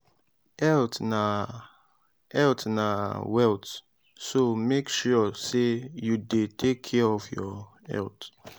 health na health na wealth so mek sure say yu dey take care of your health